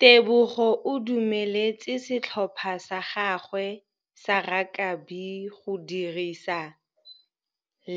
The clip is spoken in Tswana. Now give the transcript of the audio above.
Tebogô o dumeletse setlhopha sa gagwe sa rakabi go dirisa